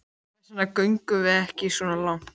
Hvers vegna göngum við ekki svo langt?